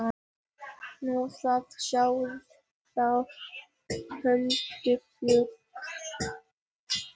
Nú, þið sjáið þá huldufólk?